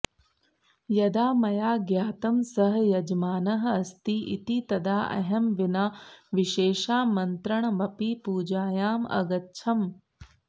यदा मया ज्ञातं सः यजमानः अस्ति इति तदा अहं विना विशेषामन्त्रणमपि पूजायाम् अगच्छम्